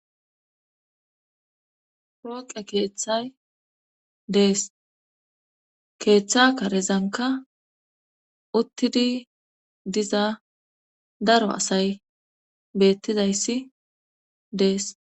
Pooqe keeththay dees keeththa karezanka uttidi diza daro asay beettidayssi dees